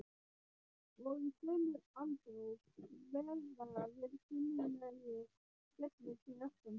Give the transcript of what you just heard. Og í sömu andrá kveða við kunnuglegir skellir fyrir aftan.